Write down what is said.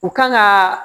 U kan ka